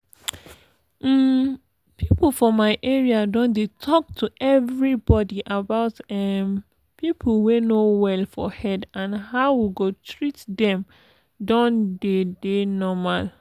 um people for my area don dey talk to everybody about um people wey no well for head and how we go treat them don deydey normal.